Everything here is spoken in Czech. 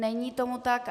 Není tomu tak.